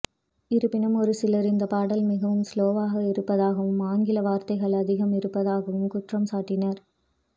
இருப்பினும் ஒரு சிலர் இந்த பாடல் மிகவும் ஸ்லோவாக இருப்பதாகவும் ஆங்கில வார்த்தைகள் அதிகம் இருப்பதாகவும் குற்றம் சாட்டினார்